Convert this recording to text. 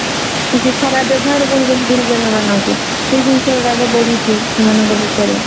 କିଛି ଖରାପ ବ୍ୟବହାର କରୁଛନ୍ତି ଗୁରୁଜନ ମାନଙ୍କୁ ସେଇ ଜିନିଷ ଗୁଡାକ ବଢୁଛି ସେମାନଙ୍କ ଭିତରେ